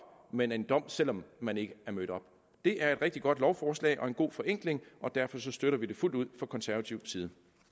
men en dom selv om man ikke er mødt op det er et rigtig godt lovforslag og en god forenkling og derfor støtter vi det fuldt ud fra konservativ side